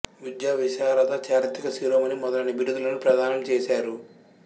విద్యా విశారద చారిత్రక శిరోమణి మొదలైన బిరుదులను ప్రధానం చేసారు